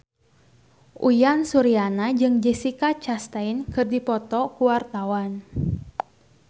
Uyan Suryana jeung Jessica Chastain keur dipoto ku wartawan